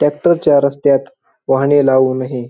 Tractor च्या रस्त्यात वाहने लावू नये.